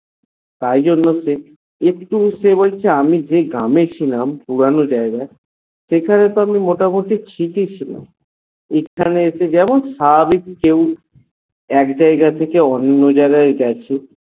তাই জন্য সে একটু সে বলছে আমি যে গ্রাম এ ছিলাম এক পুরানো জাগায় সেখানে তো আমি মোটামুটি ঠিকই ছিলাম এখানে এসে যেমন কেউ সেভাবে এক যায়েগা থেকে অন্য যায়েগা হয়ে গেছে